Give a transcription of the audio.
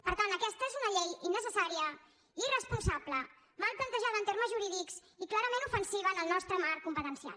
per tant aquesta és una llei innecessària irresponsable mal plantejada en termes jurídics i clarament ofensiva en el nostre marc competencial